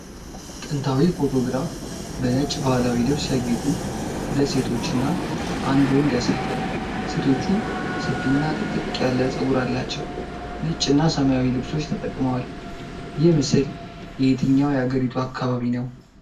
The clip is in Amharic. ጥንታዊ ፎቶግራፍ በነጭ ባህላዊ ልብስ ያጌጡ ሁለት ሴቶችና አንድ ወንድ ያሳያል። ሴቶቹ ሰፊና ጥቅጥቅ ያለ ፀጉር አላቸው። ነጭና ሰማያዊ ልብሶች ተጠቅመዋል። ይህ ምስል የየትኛው የአገሪቱ አካባቢ ነው?